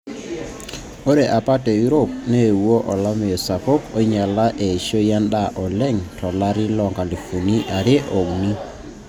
Ore apa te Europe neeuwo olameyu sapuk oinyala eishoi endaa oleng to lari loo nkalifuni are o uni.